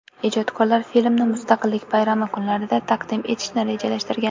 Ijodkorlar filmni Mustaqillik bayrami kunlarida taqdim etishni rejalashtirgan.